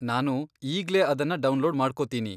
ನಾನು ಈಗ್ಲೇ ಅದನ್ನ ಡೌನ್ಲೋಡ್ ಮಾಡ್ಕೊತೀನಿ.